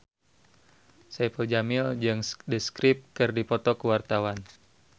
Saipul Jamil jeung The Script keur dipoto ku wartawan